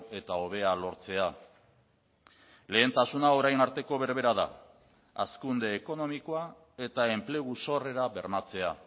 eta hobea lortzea lehentasuna orain arteko berbera da hazkunde ekonomikoa eta enplegu sorrera bermatzea